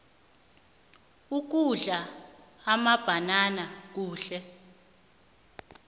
ukudla amabhanana kuhle